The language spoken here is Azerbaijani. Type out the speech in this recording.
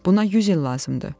Buna 100 il lazımdır.